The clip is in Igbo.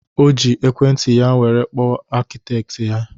O ji Ekwenti ya were kpọọ akịtekị ya